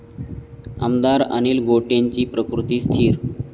आमदार अनिल गोटेंची प्रकृती स्थिर